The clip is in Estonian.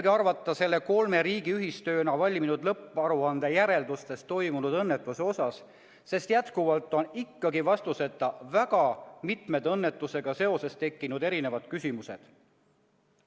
Mida arvata selle kolme riigi ühistööna valminud lõpparuande järeldustest toimunud õnnetuse kohta, sest jätkuvalt on vastuseta väga mitmed õnnetusega seoses tekkinud küsimused.